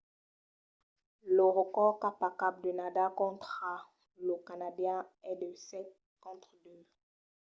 lo recòrd cap a cap de nadal contra lo canadian es de 7–2